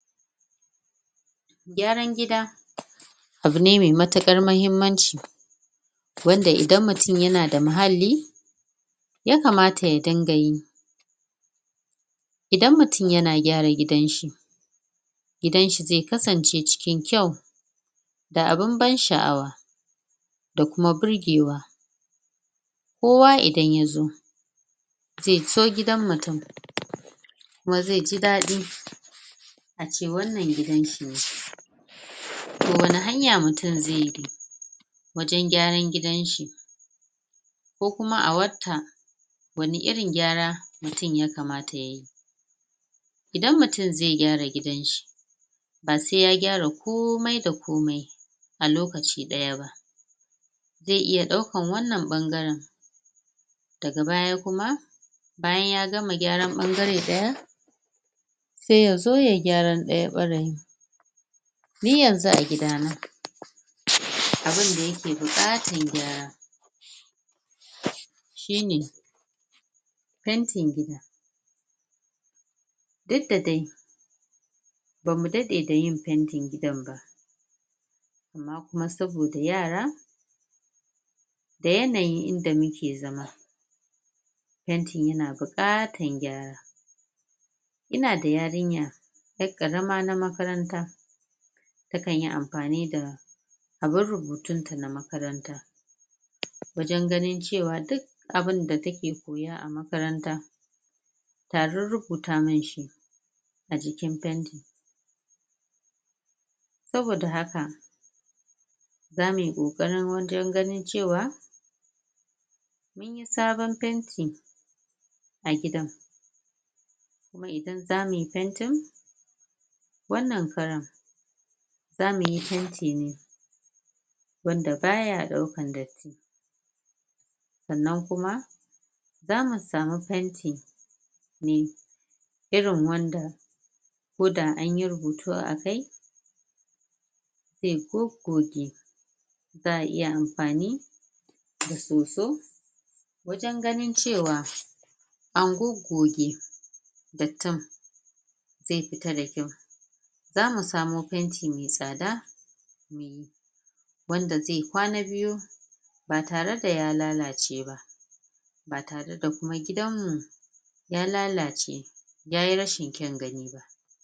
Gyaran gida abu ne mai matuƙar mahimmanci, wanda idan mutum ya na da muhalli yakamata ya dinga yi, idan mutum ya na gyara gidanshi gidanshi zai kasance cikin kyau, da abin ban sha'awa, da kuma birgewa, kowa idan ya zo zai so gidan mutum kuma zai ji daɗi a ce wannan gidanshi ne, to wane hanya mutum zai bi wajen gyaran gidanshi? ko kuma a wata wane irin gyara mutum yakamata ya yi? Idan mutum zai gyara gidanshi ba sai ya gyara komai da komai a lokaci ɗaya ba, zai iya ɗaukar wannan ɓangaren daga baya kuma bayan ya gama gyaran ɓangare ɗaya sai ya zo yai gyan ɗaya ɓaren, ni yanzu a gidana, abunda ya ke buƙatar gyara shine fentin gida, duk da dai ba mu daɗe da yin fentin gidan ba, amma kuma saboda yara da yanayin inda muke zama, fentin ya na buƙatar gyara, inada yarinya 'yar ƙarama na makaranta takanyi amfani da abun rubutunta na makaranta wajen ganin cewa duk abinda ta ke koya a makaranta ta rurrubuta man shi a jikin fenti, saboda haka za mu yi ƙoƙari wajen ganin cewa mun yi sabon fenti sabon fenti a gidan, kuma idan za mu yi fentin wannan karin za mu yi fenti ne wanda baya ɗaukar datti, sannan kuma za mu samu fenti mai irin wanda koda anyi rubutu akai zai goggoge, za'a iya amfani da soso wajen ganin ce wa an goggoge dattin zai fita da kyau, za mu samo fenti mai tsada wanda zai kwana biyu ba tare da ya lalace ba, ba tare da kuma gidanmmu ya lalace ya yi rashin kyan gani ba.